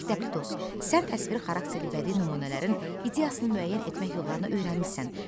Məktəbli dost, sən təsviri xarakterli bədii nümunələrin ideyasını müəyyən etmək yollarını öyrənmisən.